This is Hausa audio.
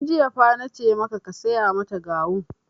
Tun jiya fa nace ka saya mata gawun!